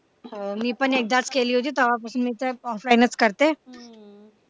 हो मी पण एकदाच केली होती तेव्हापासून तर offline च करते